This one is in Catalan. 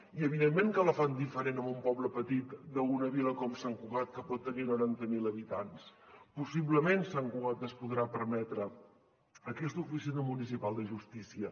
i evidentment que la fan diferent en un poble petit d’una vila com sant cugat que pot tenir noranta mil habitants possiblement sant cugat es podrà permetre aquesta oficina municipal de justícia